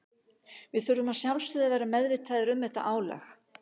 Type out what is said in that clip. Við þurfum að sjálfsögðu að vera meðvitaðir um þetta álag.